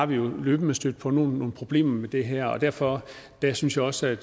vi jo løbende stødt på nogle problemer med det her og derfor synes jeg også at